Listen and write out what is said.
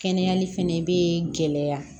Kɛnɛyali fɛnɛ bee gɛlɛya